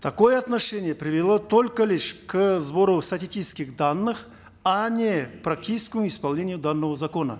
такое отношение привело только лишь к сбору статистических данных а не к практическому исполнению данного закона